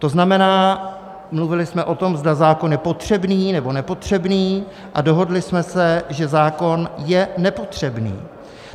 To znamená, mluvili jsme o tom, zda zákon je potřebný, nebo nepotřebný, a dohodli jsme se, že zákon je nepotřebný.